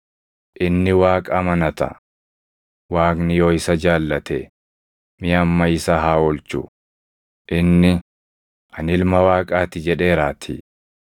Inni Waaqa amanata; Waaqni yoo isa jaallate, mee amma isa haa oolchu; inni, ‘Ani Ilma Waaqaa ti’ jedheeraatii.”